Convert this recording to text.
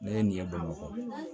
Ne ye nin ye bamakɔ